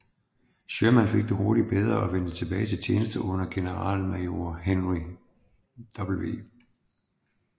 Sherman fik det hurtigt bedre og vendte tilbage til tjeneste under generalmajor Henry W